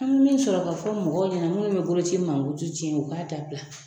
An bɛ min sɔrɔ ka fɔ mɔgɔw ɲɛna minnu bɛ bolo ci mankutu tiɲɛ ,ou k'a dabila.